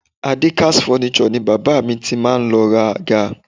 Adekaz Furnitures ni bàbá mi ti máa lọ ra àga